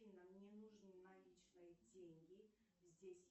афина мне нужны наличные деньги здесь